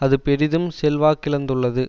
அது பெரிதும் செல்வாக்கிழந்துள்ளது